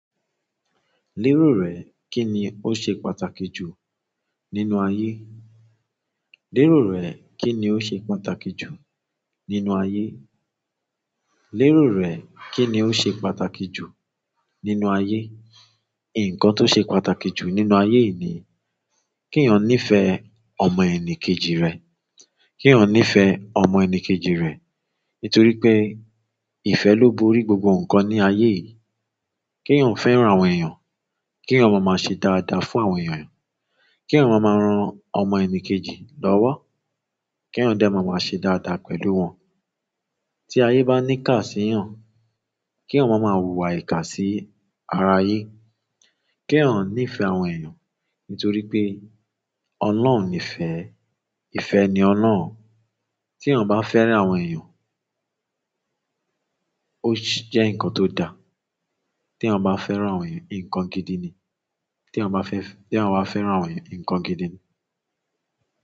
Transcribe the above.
Lérò rẹ̀, kí ni ó ṣe pàtàkì jù nínú ayé? Lérò rẹ̀, kí ni ó ṣe pàtàkì jù nínú ayé? Lérò rẹ̀, kí ni ó ṣe pàtàkì jù nínú ayé? Ǹkan tó ṣe pàtàkì jù nínú ayé yìí ni kí èèyàn níí fẹ́ ọmọ ẹnì kejì rẹ̀. Kí èèyàn níí fẹ́ ọmọ ẹnì kejì rẹ̀ nítorí pé ìfẹ́ ló borí gbogbo ǹkan ní ayé yìí. Kí èèyàn fẹ́ràn àwọn èèyàn, kí èèyàn máa máa ṣe dáadáa fún àwọn èèyàn, kí èèyàn máa máa ran ọmọ ẹni kejì lọ́wọ́, kí èèyàn dé máa máa ṣe dáadáa pẹ̀lú wọn. Tí ayé bá ní ká sí èèyàn, kí èèyàn máa máa hùwà ìkà sí ara ayé. Kí èèyàn níí fẹ́ àwọn èèyàn nítorí pé ọlọ́run ní ìfẹ́, ìfẹ́ ni ọlọ́run. Tí èèyàn bá fẹ́ràn àwọn èèyàn, sí jẹ́ ǹkan tó dáa. Tí àwọn bá fẹ́ràn àwọn èèyàn, ǹkan gidi ni. Tí àwọn bá fẹ́ fi-tí èèyàn wà fẹ́ràn àwọn èèyàn, ǹkan gidi ni.